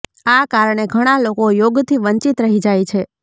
આ કારણે ઘણા લોકો યોગથી વંચિત રહી જાય છે